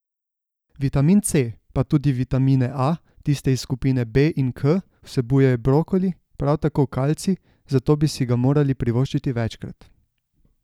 Vitamin C pa tudi vitamine A, tiste iz skupine B in K vsebuje brokoli, prav tako kalcij, zato bi si ga morali privoščiti večkrat.